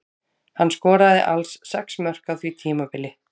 Hann skoraði alls sex mörk á því tímabili.